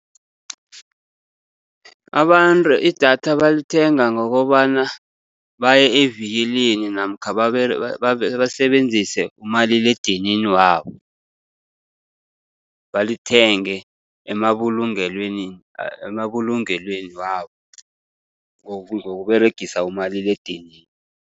Abantu idatha balithenga ngokobana baye evikilini, namkha basebenzise umaliledinini wabo. Balithenge emabulungelweni, emabulungelweni wabo ngokUberegisa umaliledinini.